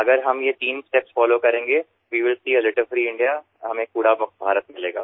अगर हम ये तीन स्टेप्स फोलो करेंगे we will see a litter free India हमें कूड़ा मुक्त भारत मिलेगा